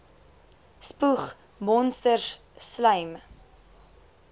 spoeg monsters slym